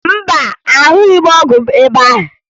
Mba, ahụghị m ọgwụ m ebe ahụ